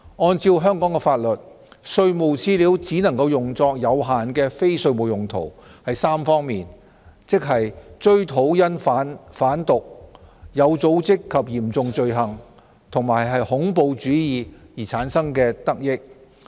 按照香港法律，稅務資料只能用作有限的非稅務用途，是在3方面，即追討因販毒、有組織及嚴重罪行及恐怖主義而產生的得益。